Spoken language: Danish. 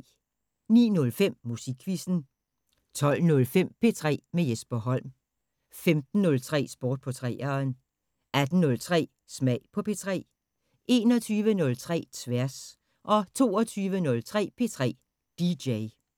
09:05: Musikquizzen 12:05: P3 med Jesper Holm 15:03: Sport på 3'eren 18:03: Smag på P3 21:03: Tværs 22:03: P3 DJ